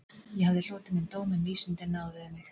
Ég hafði hlotið minn dóm en vísindin náðuðu mig